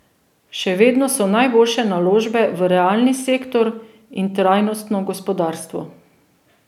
Še vedno so najboljše naložbe v realni sektor in trajnostno gospodarstvo.